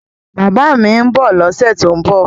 Bàbá mi ń bọ̀ lọ́sẹ̀ tó ń bọ̀